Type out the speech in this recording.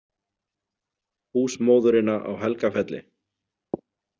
Húsmóðurina á Helgafelli.